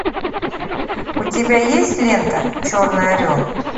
у тебя есть лента черный орел